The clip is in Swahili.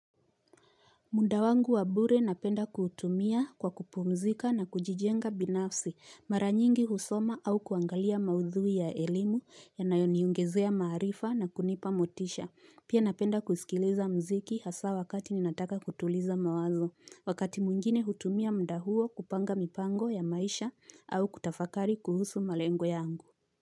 Muda wangu wa bure napenda kuutumia kwa kupumzika na kujijenga binafsi mara nyingi husoma au kuangalia maudhui ya elimu yanayoniongezea ya maarifa na kunipa motisha. Pia napenda kusikiliza mziki hasa wakati ninataka kutuliza mawazo. Wakati mwingine hutumia muda huo kupanga mipango ya maisha au kutafakari kuhusu malengo yangu.